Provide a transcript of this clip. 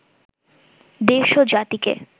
দেশ ও জাতিকে